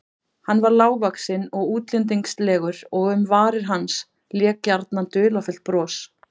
Hann var lágvaxinn og útlendingslegur og um varir hans lék gjarnan dularfullt bros.